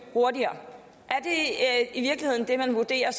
hurtigere er det i virkeligheden det man vurderer